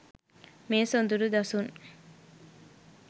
මේ සොඳුරු දසුන්